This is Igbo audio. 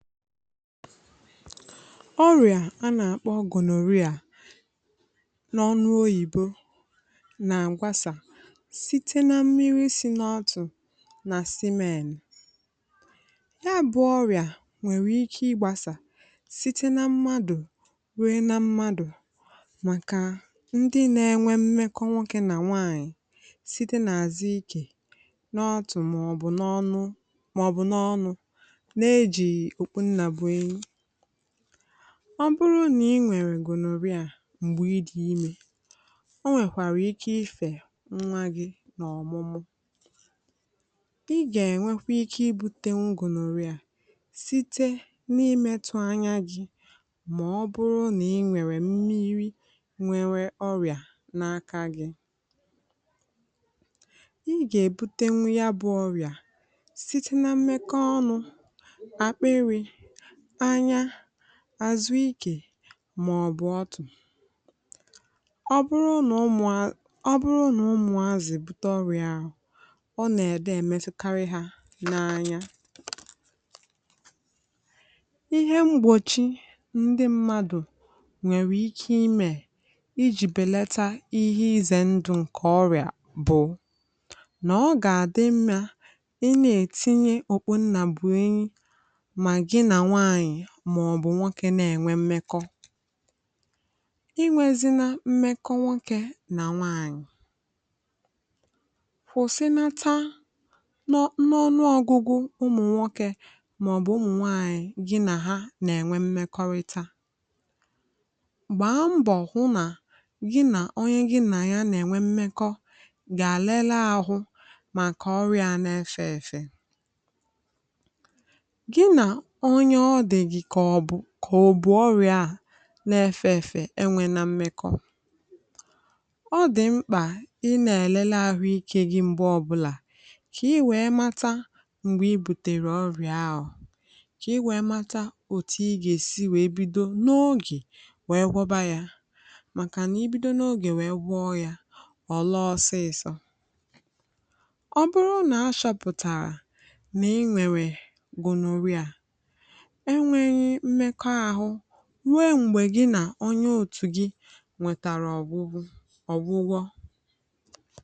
ọrịà a nà-àkpọ gonorrhea n’ọnụ oyìbo nà-àgbasà site na mmirī sī n’ọtụ̀ nà semen ya bụ̄ ọrịà nwèrè ike ịgbāsà site na madụ̀ rue na mmadụ̀ màkà ndị na-enwe mmekọ nwokē nà nwaạnyị site n‘àzụ ikè n’ọtụ màọ̀bụ̀ n’ọnụ màọ̀bụ̀ n’ọnụ̄ na-èjìghi òkpu nnà bụ̀ enyi ọ bụrụ nà i nwèrè gonorrhea m̀gbè ị dị̀ imē o nwèkwàrà ike ifè ṅ̇nwa gị̄ n’ọ̀mụmù ị̣ gà-ènwekwe ike ibūtēnwū gonorrhea site n’imētụ̄ anya gị̄ mà ọ bụ̀rụ̀ nà i nwèrè mmiri nwere ọrịà n’aka gị̄ ị gà-èbutenwu ya bụ̄ ọrịa site na mmekọ ọnụ̄ àkpịrị̄ anya àzụ ikè maọ̀bụ̀ ọtụ̀ ọ bụrụ nà ụmụ̀ a ọ bụrụ nà ụmụ̀azị̀ bute ọrịà ahụ̀ ọ nè-ède èmetụkarị ha n'anya ihe mgbòchi ndị mmadụ nwèrè ike imè ijī bèlata ihe izè ndụ̄ ṅ̀kè ọrịà bụ̀ nà ọ gà-àdị mmā ịnā-ètinye okpu nnà bụ̀ enyi mà gị nà nwaànyị màọ̀bụ̀ nwokē na-ènwe mmekọ i nwezīnā mmekọ nwokē nà nwaànyị̀ kwụ̀sịnata nọ n’ọnụgụgụ mạ̀ọ̀bụ̀ ụmụ̀ nwaànyị̀ gị nà ha nà-ènwe mmekọrịta gbàa mbọ hụ nà gị nà onye gị nà ya nà-ènwe mmekọ gà lela ahụ̄ màkà ọrịā ā na-efē èfè gị nà onye ọ dị̀ gị̀ kà ọ̀ bụ̀ kò ò bù ọrịā à na-efē èfè enwenā mmekọ ọ dị̀ mkpà ị nā-è̀lele ahụikē gị̄ m̀gbe ọbụlà kà i wèe mata m̀gbè i butèrè ọrịà ahụ̀ kà i wèe mata òtù ị gà-èsi wèe bido n’ogè wèe gwọba yā màkà nà i bido wèe gwọọ yā ọ̀ laa ọsịịsọ̄ ọ̀ laa ọsịịsọ̄ nà i nwèrè gonorrhea e nwēghī mmekọ ahụ̄ ruo m̀gbè gị nà onye otù gị nwetàrà ọ̀gwụgwụ ọ̀gwụgwọ